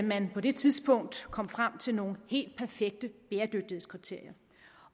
man på det tidspunkt kom frem til nogle helt perfekte bæredygtighedskriterier